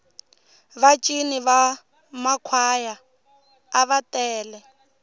va cini va makhwaya ava tele